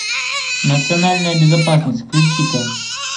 национальная безопасность включи ка